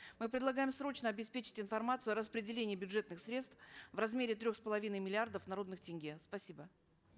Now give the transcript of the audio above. мы предлагаем срочно обеспечить информацией о рапределении бюджетных средств в размере трех с половиной миллиардов народных тенге спасибо